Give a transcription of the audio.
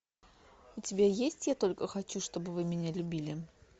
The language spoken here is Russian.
у тебя есть я только хочу чтобы вы меня любили